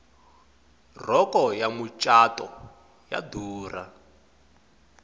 rhoko ya macatu yo durha